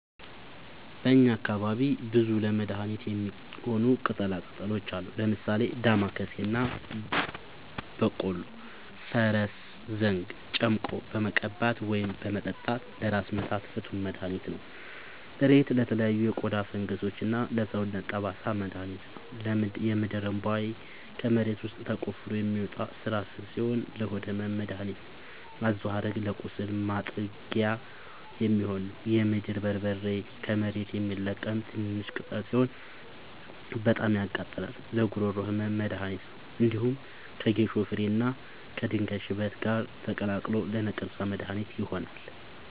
በእኛ አካባቢ ብዙ ለመድሀነት የሚሆኑ ቅጠላ ቅጠሎች አሉ። ምሳሌ፦ ዳማከሴ እና ቦኮሉ(ፈረስዘንግ) ጨምቆ በመቀባት ወይም በመጠጣት ለራስ ምታት ፍቱን መድሀኒት ነው። እሬት ለተለያዩ የቆዳ ፈንገሶች እና ለሰውነት ጠባሳ መድሀኒት ነው። የምድርእንቧይ ከመሬት ውስጥ ተቆፍሮ የሚወጣ ስራስር ሲሆን ለሆድ ህመም መደሀኒት ነው። አዞሀረግ ለቁስል ማጥጊያ የሚሆን ነው። የምድር በርበሬ ከመሬት የሚለቀም ትንሽሽ ቅጠል ሲሆን በጣም ያቃጥላል ለጉሮሮ ህመም መድሀኒት ነው። እንዲሁም ከጌሾ ፍሬ እና ከድንጋይ ሽበት ጋር ተቀላቅሎ ለነቀርሳ መድሀኒት ይሆናል።